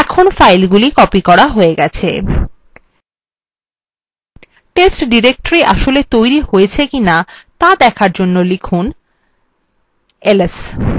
এখন ফাইলগুলি copied করা হয়ে গেছে test directory আসলে তৈরী হয়েছে কিনা দেখার জন্য লিখুনls এবং enter টিপুন